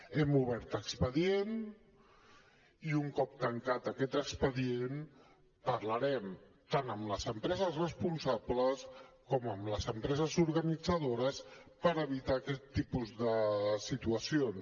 hem obert expedient i un cop tancat aquest expedient parlarem tant amb les empreses responsables com amb les empreses organitzadores per evitar aquest tipus de situacions